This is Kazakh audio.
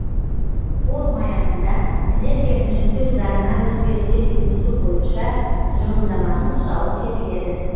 форум аясында энергия үнемдеу заңына өзгерістер енгізу бойынша тұжырымдаманың тұсауы кесіледі